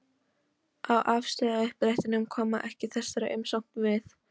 á afstöðuuppdrættinum, koma ekki þessari umsókn við.